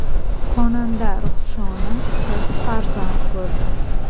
Xonanda Ruhshona qiz farzand ko‘rdi.